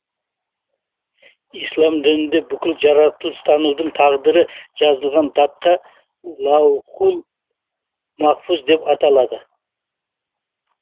ислам дінінде бүкіл жаратылыстардың тағдыры жазылған тақта лаухул махфуз деп аталады